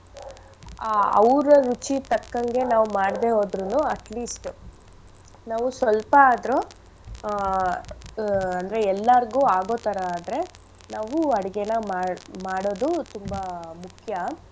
ಆ ಅವ್ರ ರುಚಿ ತಕ್ಕಂಗೆ ನಾವ್ ಮಾಡ್ದೆ ಹೋದ್ರುನು at least ನಾವು ಸೊಲ್ಪ ಆದ್ರು ಆ ಅಂದ್ರೆ ಎಲ್ಲಾರ್ಗು ಆಗೋ ತರ ಆದ್ರೆ ನಾವು ಅಡ್ಗೆನ ಮಾಡ್~ ಮಾಡೋದು ತುಂಬಾ ಮುಖ್ಯ.